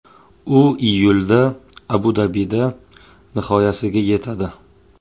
U iyulda Abu-Dabida nihoyasiga yetadi.